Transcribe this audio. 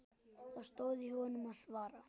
Það stóð í honum að svara.